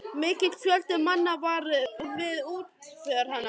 Mikill fjöldi manna var við útför hennar.